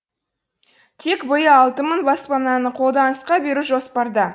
тек алты мың баспананы қолданысқа беру жоспарда